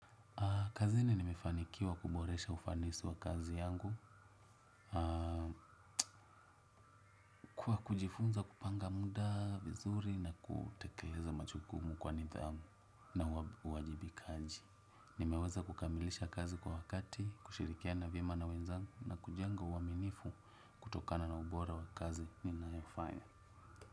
Kazini nimefanikiwa kuboresha ufanisi wa kazi yangu, kuwa kujifunza kupanga muda vizuri na kutekeleza machukumu kwa nidhamu na uwajibikaji. Nimeweza kukamilisha kazi kwa wakati, kushirikiana viema na wenzangu na kujenga uaminifu kutokana na ubora wa kazi nina yofanya.